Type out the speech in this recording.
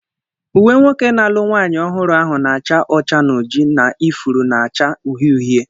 Uwe nwoke na-alụ nwanyị ọhụrụ ahụ na-acha ọcha na oji, na ifuru na-acha uhie uhie.